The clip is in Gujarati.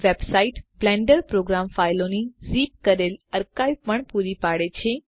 વેબસાઈટ બ્લેન્ડર પ્રોગ્રામ ફાઈલોની ઝિપ કરેલ અર્કાઇવ પણ પૂરી પાડે છે